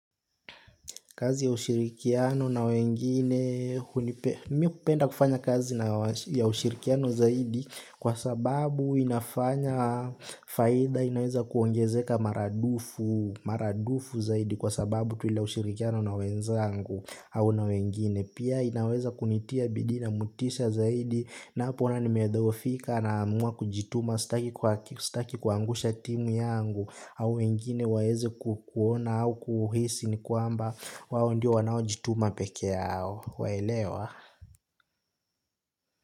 Kazi ya ushirikiano na wengine mimi hupenda kufanya kazi ya ushirikiano zaidi kwa sababu inafanya faida inaweza kuongezeka maradufu zaidi kwa sababu tu ile ushirikiano na wenzangu au na wengine. Pia inaweza kunitia bidii na motisha zaidi napoona nimedhoofika naamua kujituma sitaki kuangusha timu yangu au wengine waeze kukuona au kuhisi ni kwamba wao ndio wanao jituma peke yao waelewa.